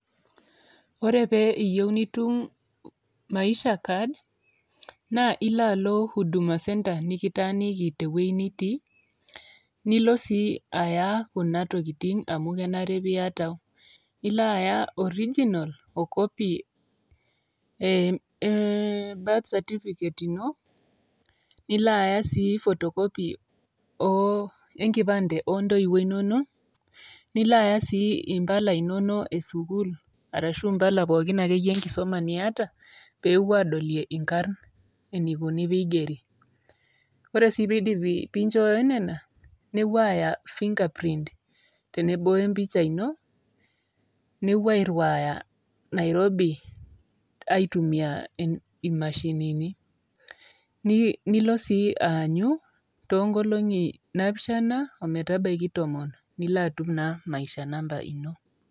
ore pee iyieu nitum maisha card naa ilo alo huduma centre nikitaaniki tewueji nitii nilo sii aya kuna tokiting amu kenare piata ilo aya original o copy eh, birth certificate ino nilo aya sii photocopy oo enkipande ontoiwuo inonok nilo aya sii impala inonok esukul arashu impala pookin akeyie enkisuma niata peepuo adolie inkarrn enikoni piigeri ore sii peidipi pinchooyo nena nepuo aya fingerprint tenebo wem picha ino nepuo airriwaya nairobi aitumia imashinini nilo sii aanyu tonkolong'i napishana ometabaiki tomon nilo atum naa ]maisha namba ino.